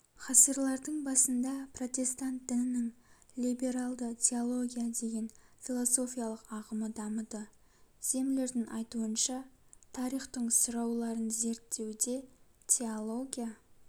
ғасырлардың басында протестант дінінің либералды теология деген философиялық ағымы дамыды землердің айтуынша тарихтың сұрауларын зерттеуде теология